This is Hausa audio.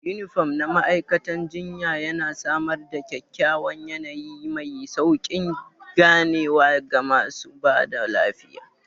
Unifom na ma'aikatan jinya yana samar da kyakkyawan yanayi mai sauƙin ganewa ga masu ba da lafiya.